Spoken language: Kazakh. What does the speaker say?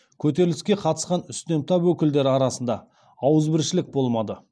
көтеріліске қатысқан үстем тап өкілдері арасында ауызбіршілік болмады